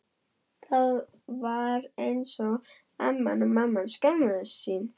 Það var eins og amman og mamman skömmuðust sín.